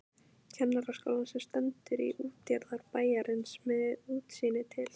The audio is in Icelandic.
Kennaraskólann sem stendur í útjaðri bæjarins með útsýni til